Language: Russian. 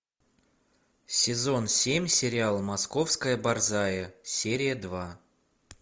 сезон семь сериал московская борзая серия два